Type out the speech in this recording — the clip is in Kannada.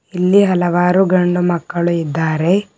ಇಲ್ಲಿ ಹಲವಾರು ಗಂಡು ಮಕ್ಕಳು ಇದ್ದಾರೆ.